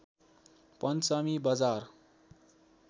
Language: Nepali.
पञ्चमी बजार